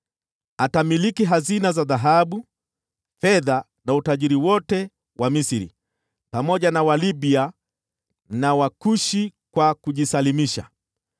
Atamiliki hazina za dhahabu, fedha na utajiri wote wa Misri, pamoja na Walibia na Wakushi kwa kujisalimisha.